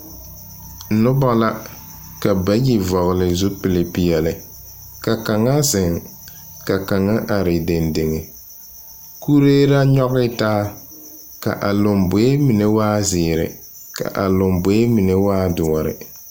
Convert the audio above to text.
Nobɔ la, ka bayi vɔgele zupilpeɛle. Ka kaŋa zeŋ, ka kaŋa are dendeŋe. Kuree la nyɔge taa ka a lomboe mine waa zeere ka a lomboe mine waa doɔre.